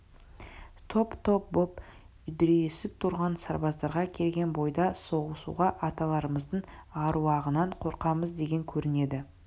топ-топ боп үдірейісіп тұрған сарбаздарға келген бойда соғысуға аталарымыздың аруағынан қорқамыз деген көрінеді